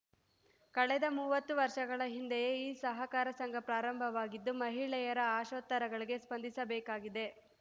ಕಳೆದ ಮುವತ್ತು ವರ್ಷಗಳ ಹಿಂದೆಯೆ ಈ ಸಹಕಾರ ಸಂಘ ಪ್ರಾರಂಭವಾಗಿದ್ದು ಮಹಿಳೆಯರ ಆಶೋತ್ತರಗಳಿಗೆ ಸ್ಪಂದಿಸಬೇಕಾಗಿದೆ